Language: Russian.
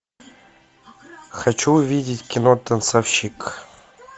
хочу увидеть кино танцовщик